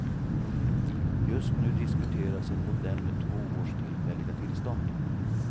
Just nu diskuteras en modell med två års tillfälliga tillstånd.